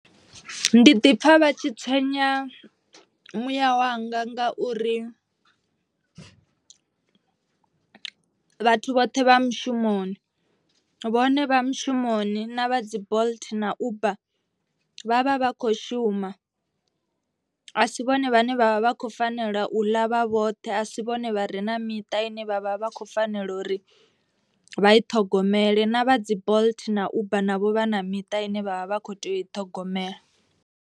Ndi ḓi pfha vha tshi tswenya muyawanga ngauri vhathu vhoṱhe vha mushumoni. Vhone vha mushumoni na vha dzi bolt na uber vha vha vha kho shuma. A si vhone vhane vhavha vha kho fanela u ḽa vha vhoṱhe a si vhone vhare na miṱa ine vhavha vha kho fanela uri vha i ṱhogomele. Na vha dzi bolt na uber navho vha na miṱa ine vhavha vha kho tea u i ṱhogomela.